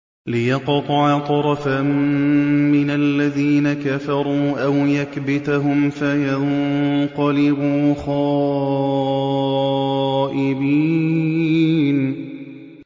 لِيَقْطَعَ طَرَفًا مِّنَ الَّذِينَ كَفَرُوا أَوْ يَكْبِتَهُمْ فَيَنقَلِبُوا خَائِبِينَ